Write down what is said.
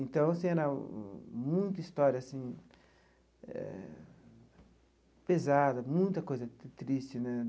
Então, assim, era muita história, assim eh, pesada, muita coisa triste, né?